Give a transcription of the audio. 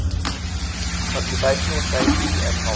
occupational safety and health